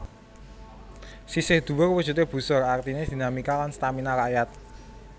Sisih dhuwur wujudé busur artiné dinamika lan stamina rakyat